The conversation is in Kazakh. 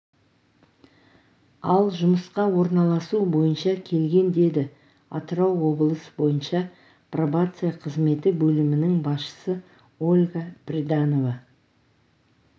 ал жұмысқа орналасу бойынша келген деді атырау облысы бойынша пробация қызметі бөлімінің басшысы ольга приданова